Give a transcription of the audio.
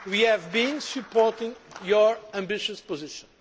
We have been supporting your ambitious position.